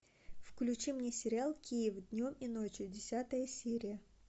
включи мне сериал киев днем и ночью десятая серия